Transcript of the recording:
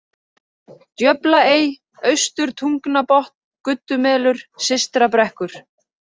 Djöflaey, Austurtungnabotn, Guddumelur, Systrabrekkur